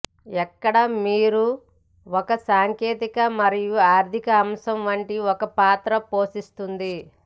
ఎక్కడ మీరు ఒక సాంకేతిక మరియు ఆర్ధిక అంశం వంటి ఒక పాత్ర పోషిస్తుంది